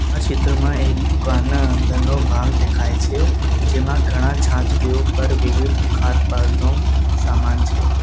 આ ચિત્રમાં એક દુકાન અંદરનો ભાગ દેખાય છે જેમાં ઘણા છાંચવીવો પર વિવિધ ખાદપારનું સામાન છે.